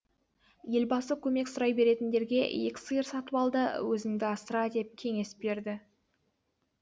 елбасы көмек сұрай беретіндерге екі сиыр сатып ал да өзіңді асыра деп кеңес берді